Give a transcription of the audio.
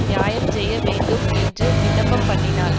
நியாயஞ்செய்யவேண்டும் என்று விண்ணப்பம் பண்ணினாள்